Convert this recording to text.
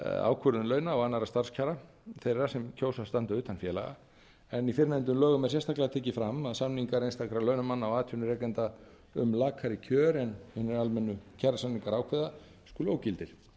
ákvörðun launa og annarra starfskjara þeirra sem kjósa að standa utan félaga en í fyrrnefndum lögum er sérstaklega tekið fram að samningar einstakra launamanna og atvinnurekenda um lakari kjör en hinir almennu kjarasamningar ákveða skuli ógildir